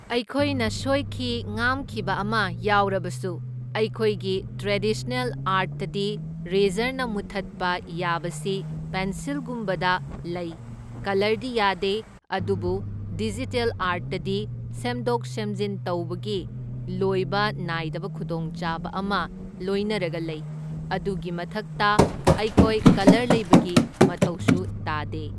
ꯑꯩꯈꯣꯏꯅ ꯁꯣꯏꯈꯤ ꯉꯥꯝꯈꯤꯕ ꯑꯃ ꯌꯥꯎꯔꯕꯁꯨ ꯑꯩꯈꯣꯏꯒꯤ ꯇ꯭ꯔꯦꯗꯤꯁꯅꯦꯜ ꯑꯥꯔꯠꯇꯗꯤ ꯔꯦꯖꯔꯅ ꯃꯨꯠꯊꯠꯄ ꯌꯥꯕꯁꯤ ꯄꯦꯟꯁꯤꯜꯒꯨꯝꯕꯗ ꯂꯩ, ꯀꯂꯔꯗꯤ ꯌꯥꯗꯦ ꯑꯗꯨꯕꯨ ꯗꯤꯖꯤꯇꯦꯜ ꯑꯥꯔꯠꯇꯗꯤ ꯁꯦꯝꯗꯣꯛ ꯁꯦꯝꯖꯤꯟ ꯇꯧꯕꯒꯤ ꯂꯣꯏꯕ ꯅꯥꯏꯗꯕ ꯈꯨꯗꯣꯡꯆꯥꯕ ꯑꯃ ꯂꯣꯏꯅꯔꯒ ꯂꯩ, ꯑꯗꯨꯒꯤ ꯃꯊꯛꯇ ꯑꯩꯈꯣꯏ ꯀꯂꯔ ꯂꯩꯕꯒꯤ ꯃꯊꯧꯁꯨ ꯇꯥꯗꯦ꯫